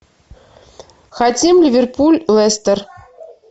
хотим ливерпуль лестер